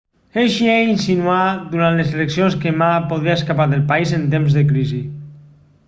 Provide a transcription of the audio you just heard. hsieh insinuà durant les eleccions que ma podria escapar del país en temps de crisi